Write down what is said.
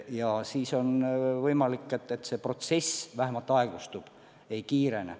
Ja siis on võimalik, et see protsess vähemalt aeglustub, ei kiirene.